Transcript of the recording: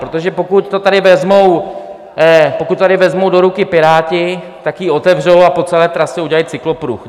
Protože pokud to tady vezmou do ruky Piráti, tak ji otevřou a po celé trase udělají cyklopruh.